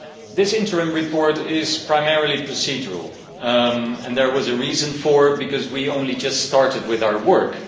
This interim report is primarily procedural and there was a reason for it, because we only just started with our work.